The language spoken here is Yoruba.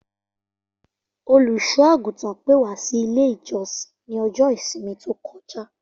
Olùsò-àgùtàn pè wa si ilé-ìjosìn ni ọjọ́ ìsinmi tókojá.